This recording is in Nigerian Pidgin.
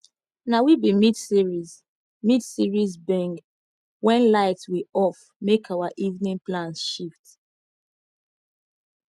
na we be midseries midseries binge when light we off make our evening plans shift